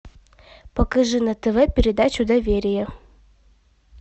покажи на тв передачу доверие